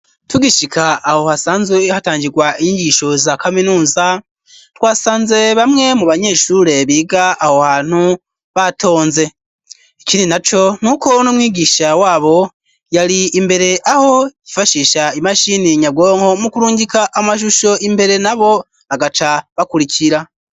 Tugishika aho hasanze ,hatangirwa inyigisho za kaminuza ,twasanze bamwe mu banyeshure biga aho hantu batonze ,ikindi na co, n'uko n'umwigisha wabo yari imbere aho yifashisha imashini nyabwonko, mu kurungika amashusho imbere na bo bagaca bakurikira.